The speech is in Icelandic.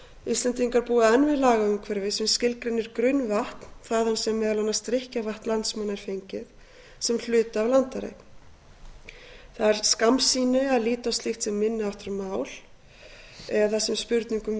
íslendingar búa enn við lagaumhverfi sem skilgreinir grunnvatn þaðan sem meðal annars drykkjarvatn landsmanna er fengið sem hluta af landareign það er skammsýni að líta á slíkt sem minni háttar mál eða sem spurningu um